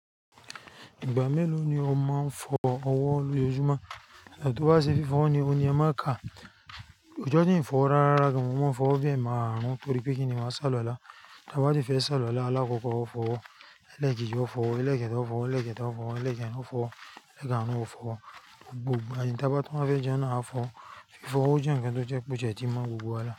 Ìgbà mélòó ni o máa ń fọ ọwọ́ lójoojúmọ́? Tí a bá ṣe fi fọ́n ni, òní ẹ má ka. Ọjọ tí n fọ̀ rárá gan, mo máa ń fọ̀ bi ẹmáàrún torí pé kí ni máa ṣàlúálá. Tí a bá ti fẹ́ ṣàlọ́lá, alákọ̀ọ́kọ́ fọ̀, lẹ́ẹ̀kejì fọ̀, lẹ́ẹ̀kẹta fọ̀, lẹ́ẹ̀kẹta fọ̀, lẹ́ẹ̀kẹta fọ̀, lẹ́ẹ̀kan ààrún fọ̀, gbogbo. Báyìí tí a bá tún bá fẹ́ jẹun ni a fọ̀. Fífọ̀ ó jẹ́ nkán tó jẹ́ pé o ti ẹ ti mọ gbogbo wa làrá.